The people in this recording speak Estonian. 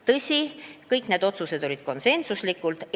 Tõsi, kõik need otsused olid konsensuslikud.